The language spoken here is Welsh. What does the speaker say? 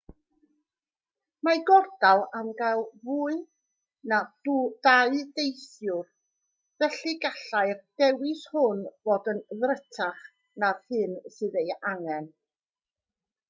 mae gordal am gael mwy na 2 deithiwr felly gallai'r dewis hwn fod yn ddrutach na'r hyn sydd ei angen